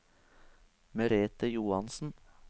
Merethe Johansen